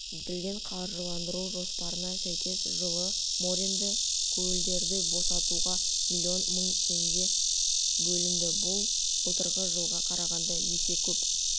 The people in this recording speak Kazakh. бекітілген қаржыландыру жоспарына сәйкес жылы моренді көлдерді босатуға млн мың теңге бөлінді бұл былтырғы жылға қарағанда есе көп